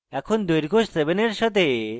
এখন